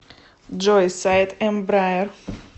джой сайт эмбраер